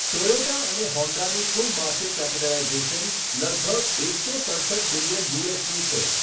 Toyota અને હોન્ડાની કુલ માર્કેટ કેપિટલાઇઝેશન લગભગ એકસો સડસઠ બિલિયન યુએસડી છે.